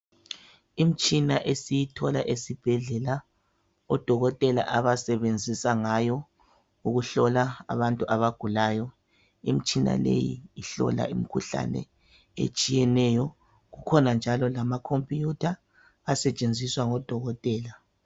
Imitshina esiyithola esibhedlela odokotela abasebenzisa ngayo ukuhlola abagulayo, imitshina leyi ihlola imikhuhlane etshiyeneyo kukhona njalo lama computer asetshenziswa ngodokotela